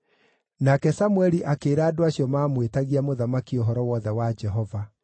Nake Samũeli akĩĩra andũ acio maamwĩtagia mũthamaki ũhoro wothe wa Jehova.